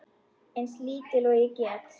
Eins lítil og ég get.